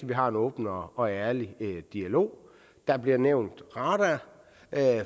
vi har en åben og ærlig dialog der bliver nævnt radar